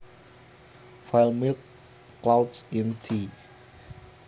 File Milk clouds in tea